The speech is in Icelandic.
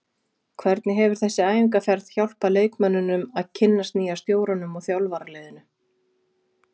Hvernig hefur þessi æfingaferð hjálpað leikmönnunum að kynnast nýja stjóranum og þjálfaraliðinu?